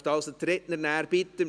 Ich möchte also die Redner bitten: